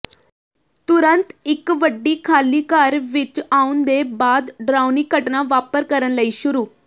ਤੁਰੰਤ ਇੱਕ ਵੱਡੀ ਖਾਲੀ ਘਰ ਵਿਚ ਆਉਣ ਦੇ ਬਾਅਦ ਡਰਾਉਣੀ ਘਟਨਾ ਵਾਪਰ ਕਰਨ ਲਈ ਸ਼ੁਰੂ